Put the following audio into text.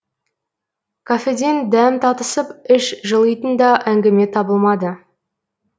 кафеден дәм татысып іш жылитын да әңгіме табылмады